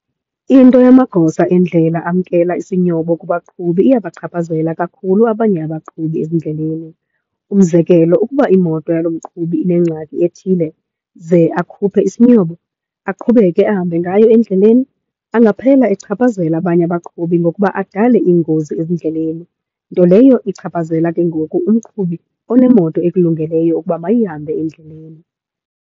Into yamagosa endlela amkela isinyobo kubaqhubi iyabachaphazela kakhulu abanye abaqhubi ezindleleni. Umzekelo ukuba imoto yalo mqhubi inengxaki ethile ze akhuphe isinyobo aqhubeke ahambe ngayo endleleni, angaphela echaphazela abanye abaqhubi ngokuba adale iingozi ezindleleni. Nto leyo ichaphazela ke ngoku umqhubi onemoto ekulungeleyo ukuba mayihambe endleleni.